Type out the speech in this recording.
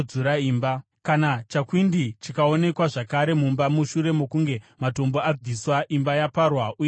“Kana chakwindi chikaonekwa zvakare mumba mushure mokunge matombo abviswa imba yaparwa uye yadzurwa,